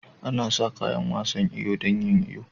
Ana sa kayan wasan iyo don yin iyo.